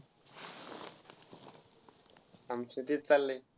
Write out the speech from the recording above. आमचा तेच चाललय.